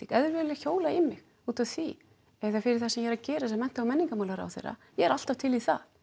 ef þeir vilja hjóla í mig út af því eða fyrir það sem ég er að gera sem mennta og menningarmálaráðherra ég er alltaf til í það